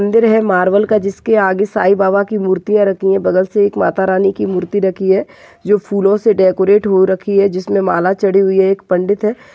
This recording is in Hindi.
मदिर है मारवेल का जिसके आगे साई बाबा की मूर्तिया राखी है बगल से एक माता रानी मूर्ति राखी है जो फूलों से डेकोरेट हो रखी है जिसमें माला छड़ी हुई है एक पंडित है।